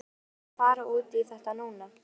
Er nauðsynlegt að fara út í þetta núna?